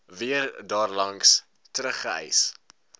weer daarlangs teruggereis